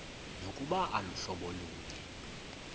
nokuba aluhlobo lunye